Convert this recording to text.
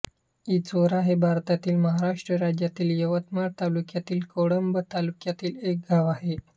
इचोरा हे भारतातील महाराष्ट्र राज्यातील यवतमाळ जिल्ह्यातील कळंब तालुक्यातील एक गाव आहे